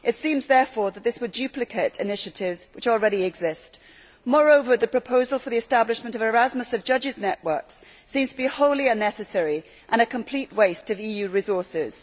It seems, therefore, that this would duplicate initiatives which already exist. Moreover, the proposal for the establishment of Erasmus of judges' networks seems to be wholly unnecessary and a complete waste of EU resources.